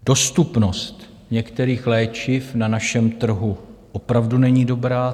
Dostupnost některých léčiv na našem trhu opravdu není dobrá.